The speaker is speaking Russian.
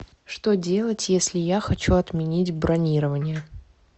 что делать если я хочу отменить бронирование